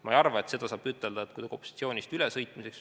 Ma ei arva, et seda saab nimetada kuidagi opositsioonist ülesõitmiseks.